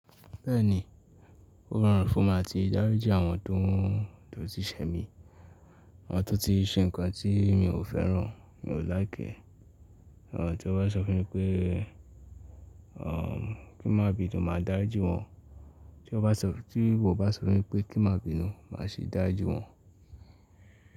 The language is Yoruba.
Bẹ́ẹ̀ni, ó rọrùn fún mi láti dárijin àwọn tó ti ṣẹ mi, àwọn tó ti ṣe ǹkan tí mi ò fẹ́ràn, mi ò láiki ẹ́. Àwọn tó bá sọ fún mi pé, kí má bínu, máa dári ji wọ́n. Tí wọ́n bá sọ fún mi pé kí má bínu, máa sì dari ji wọ́n.